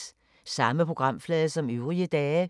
Samme programflade som øvrige dage